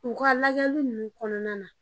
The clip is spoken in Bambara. U ka lajɛli nunnu kɔnɔna na